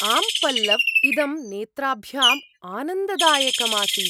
आम् पल्लव्! इदं नेत्राभ्याम् आनन्ददायकम् आसीत्।